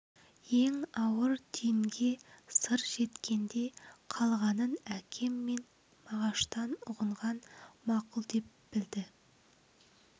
ең ауыр түйінге сыр жеткенде қалғанын әкем мен мағаштан ұғынган мақұл деп білді